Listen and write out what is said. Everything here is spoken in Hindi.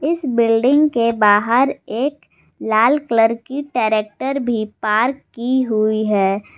इस बिल्डिंग के बाहर एक लाल कलर की ट्रैक्टर भी पार्क की हुई है।